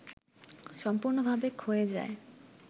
সম্পূর্ণ‌ভাবে ক্ষয়ে যায়